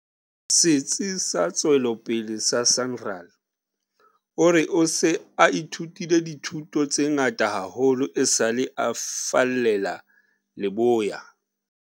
Setsi sa Tswe lopele sa SANRAL, o re o se a ithutile dithuto tse ngata haholo esale a fallela leboya.